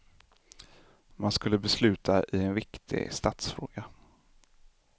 Man skulle besluta i en viktig statsfråga.